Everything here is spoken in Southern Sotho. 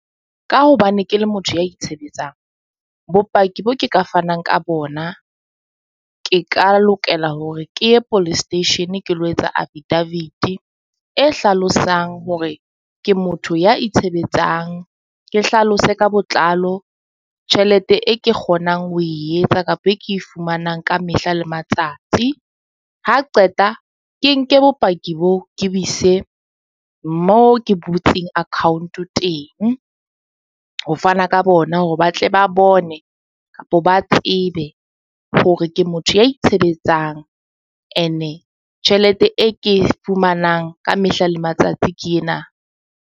Ka hobane ke le motho ya itshebetsang bopaki bo ke ka fanang ka bona, ke ka lokela hore ke ye Police Station ke lo etsa affidavit-i e hlalosang hore ke motho ya itshebetsang. Ke hlalose ka botlalo tjhelete e ke kgonang ho etsa kapa e ke e fumanang ka mehla le matsatsi. Ha qeta ke nke bopaki boo, ke bo ise moo ke butseng account-o teng. Ho fana ka bona hore ba tle ba bone kapa ba tsebe hore ke motho ya itshebetsang ene tjhelete e ke fumanang ka mehla le matsatsi ke ena.